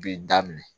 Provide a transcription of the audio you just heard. Bi daminɛ